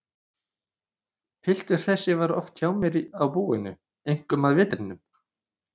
Piltur þessi var oft hjá mér á búinu, einkum að vetrinum.